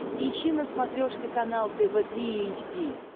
ищи на смотрешке канал тв три эйч ди